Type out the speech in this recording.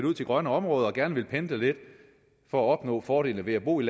ud til grønne områder og gerne vil pendle lidt for at opnå fordelene ved at bo i